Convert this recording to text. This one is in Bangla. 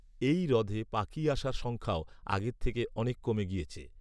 এই হ্রদে পাখি আসার সংখ্যাও আগের থেকে অনেক কমে গিয়েছে